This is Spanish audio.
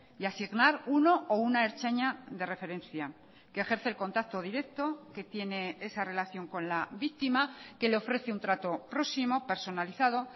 y asignar uno o una ertzaina de referencia que ejerce el contacto directo que tiene esa relación con la víctima que le ofrece un trato próximo personalizado